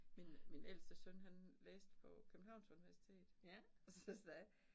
Min min ældste søn han læste på Københavns Universitet og så sagde